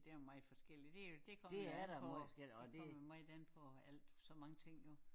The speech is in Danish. Det er meget forskelligt det jo det kommer jo an på det kommer meget an på alt så mange ting jo